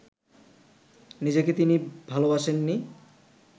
নিজেকে তিনি ভালোবাসেননি